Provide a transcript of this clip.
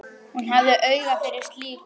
Hún hafði auga fyrir slíku.